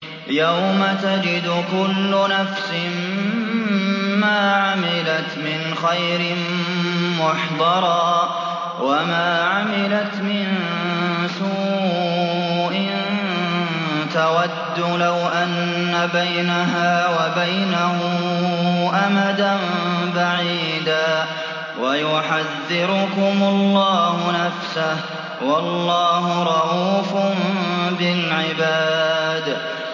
يَوْمَ تَجِدُ كُلُّ نَفْسٍ مَّا عَمِلَتْ مِنْ خَيْرٍ مُّحْضَرًا وَمَا عَمِلَتْ مِن سُوءٍ تَوَدُّ لَوْ أَنَّ بَيْنَهَا وَبَيْنَهُ أَمَدًا بَعِيدًا ۗ وَيُحَذِّرُكُمُ اللَّهُ نَفْسَهُ ۗ وَاللَّهُ رَءُوفٌ بِالْعِبَادِ